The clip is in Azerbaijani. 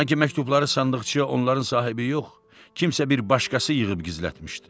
Sanki məktubları sandıqçaya onların sahibi yox, kimsə bir başqası yığıb gizlətmişdi.